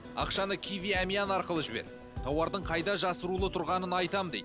ақшаны киви әмиян арқылы жібер тауардың қайда жасыруыл тұрғанын айтамын дейді